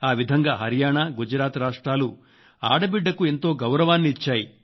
ఆ విధంగా హరియాణ గుజరాత్ రాష్ట్రాలు ఆడబిడ్డకు ఎంతో గౌరవాన్ని ఇచ్చాయి